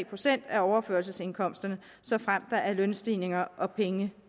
procent af overførselsindkomsterne såfremt der er lønstigninger og pengene